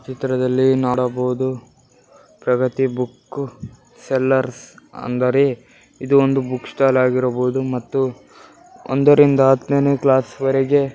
ಚಿತ್ರದಲ್ಲಿ ನೊಡಬಹುದು Pragati book sellers ಅಂದರೆ ಇದು ಒಂದು ಬುಕ್ ಸ್ಟಾಲ್ ಆಗಿರಬಹುದು ಮತ್ತೂ ಒಂದರಿಂದ ಅತ್ತನೇ ಕ್ಲಾಸ್ ವರಗೆ --